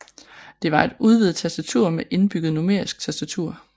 Det var et udvidet tastatur med indbygget numerisk tastatur